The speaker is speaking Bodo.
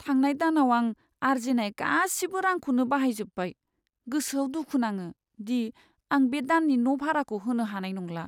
थांनाय दानाव आं आरजिनाय गासिबो रांखौनो बाहायजोब्बाय। गोसोआव दुखु नाङो दि आं बे दाननि न' भाराखौ होनो हानाय नंला।